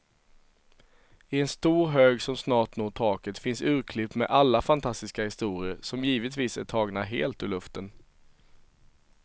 I en stor hög som snart når taket finns urklipp med alla fantastiska historier, som givetvis är tagna helt ur luften.